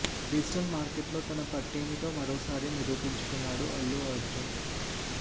digital market లో తన పట్టేమిటో మరోసారి నిరూపించుకున్నాడు అల్లు అర్జున్